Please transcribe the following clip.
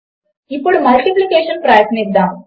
ఇప్పుడు మల్టిప్లికేషన్ ప్రయత్నిద్దాము